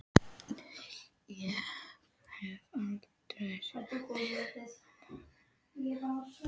Ég hef aldrei sett mig upp á móti vinnunni þinni.